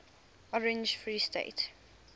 orange free state